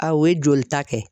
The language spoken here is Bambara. A o ye jolita kɛ.